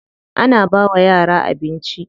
Ana bawa yara abinci.